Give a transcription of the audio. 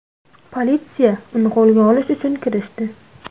Politsiya uni qo‘lga olish uchun kirishdi.